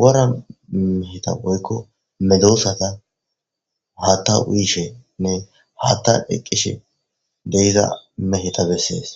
wara meheta oykko medosata ha ta uyishenne hata eqqish deiza meheta bessees